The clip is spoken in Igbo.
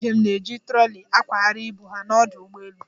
Ndị njem na-eji troli akwagharị ibu ha n'ọdụ ụgbọelu.